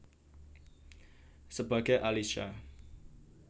Sebagai Alisha